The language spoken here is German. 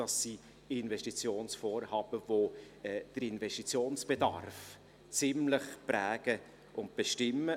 Dies sind Investitionsvorhaben, die den Investitionsbedarf prägen und bestimmen.